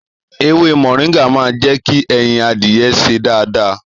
Èwè mọringà mà jẹki ẹyín àdiyẹ sè dàdà